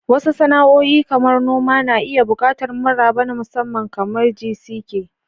Wasu sana'o'i, kamar noma, na iya buƙatar maraba na musamman, kamar "Jisike."